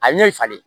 A ɲɛ ye falen